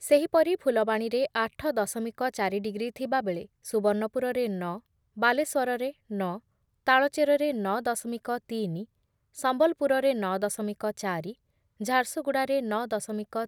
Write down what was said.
ସେହିପରି ଫୁଲବାଣୀରେ ଆଠ ଦଶମିକ ଚାରି ଡିଗ୍ରୀ ଥିବାବେଳେ ସୁବର୍ଣ୍ଣପୁରରେ ନଅ, ବାଲେଶ୍ଵରରେ ନଅ, ତାଳଚେରରେ ନଅ ଦଶମିକ ତିନି, ସମ୍ବଲପୁରରେ ନଅ ଦଶମିକ ଚାରି, ଝାରସୁଗୁଡ଼ାରେ ନଅ ଦଶମିକ